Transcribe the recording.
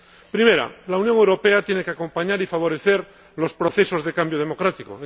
Primera la Unión Europea tiene que acompañar y favorecer los procesos de cambio democrático.